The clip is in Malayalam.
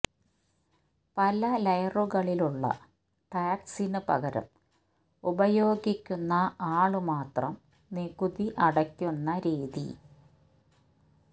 പല ലയറുകളിലുള്ള ടാക്സിന് പകരം ഉപയോഗിക്കുന്ന ആള് മാത്രം നികുതി അടയ്ക്കുന്ന രീതി